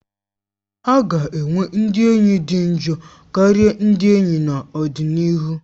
A ga-enwe ndị enyi dị njọ karịa ndị enyi n'ọdịnihu